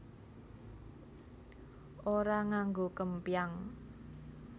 Ora nganggo kempyang